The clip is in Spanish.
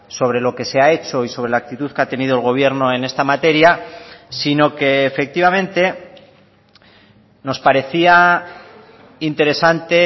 sobre lo que se ha hecho y sobre la actitud que ha tenido el gobierno en esta materia sino que efectivamente nos parecía interesante